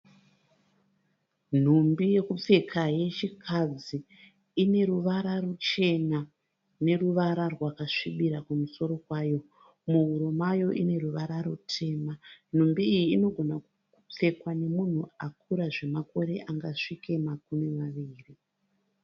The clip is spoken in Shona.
Mhumbi yekupfeka yechikadzi. Ineruvara ruchena neruvara rwakasvibira kumusoro kwayo. Muhuro mayo ineruvara rutema. Mhumbi iyi inogona kupfekwa nemunhu akura zvemakore angasvike makumi maviri.